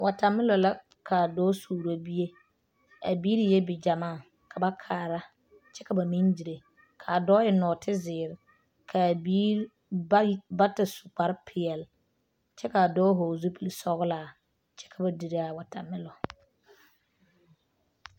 Watermelon la ka dɔɔ suuro bie,a biiri eɛ bigyɛmaa, ka ba kaara kyɛ ka ba meŋ dire kaa dɔɔ eŋe. nɔɔte zeɛre kaa birii bata su kpare pɛɛle, kyɛ kaa vɔgeli zupile sɔglaa kyɛ ka ba dire a watermelon.